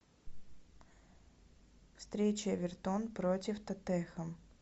встреча эвертон против тоттенхэм